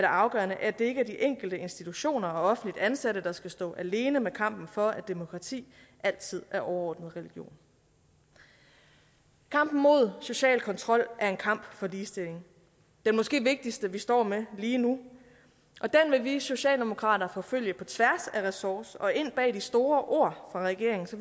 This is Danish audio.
afgørende at det ikke er de enkelte institutioner og offentligt ansatte der skal stå alene med kampen for at demokrati altid er overordnet religion kampen mod social kontrol er en kamp for ligestilling den måske vigtigste vi står med lige nu og den vil vi socialdemokrater forfølge på tværs af ressorter og ind bag de store ord fra regeringen så